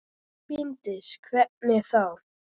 Bryndís: Hvernig þá?